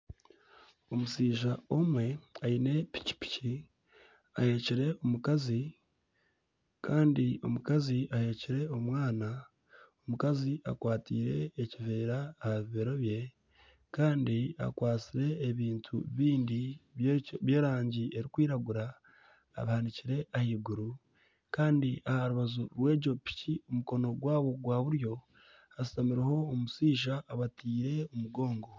Omushaija omwe aine pikipiki aheekire omukazi, kandi omukazi aheekire omwana. Omukazi akwateire ekiveera aha bibero bye, kandi akwatsire ebintu bingi by'erangi erikwiragura abihanikire ahaiguru. Kandi aha rubaju rw'egyo piki mukono gwabo gwa buryo hashutamireho omushaija abateire omugongo.